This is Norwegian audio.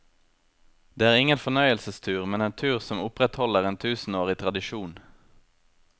Det er ingen fornøyelsestur, men en tur som opprettholder en tusenårig tradisjon.